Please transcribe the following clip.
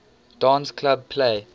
dance club play